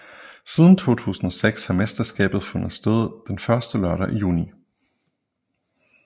Siden 2006 har mesterskabet fundet sted den første lørdag i juni